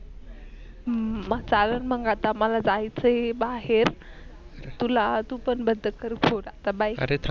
मग चालन मग आता मला जायेच बाहेर तुला तू पण बंद कर फोन आता bye